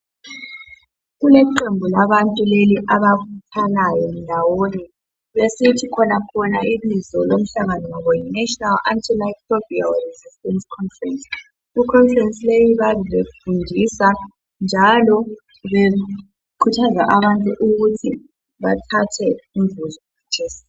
Kuleqembu labantu leli abakhanyayo ndawonye besithi khonakhona ibizo lomhlangano wabo yi national anti microbial resistance conference. I conference leyi bayabe befundisa njalo bekhuthaza bantu ukuthi bathathe imvuzo kathesi.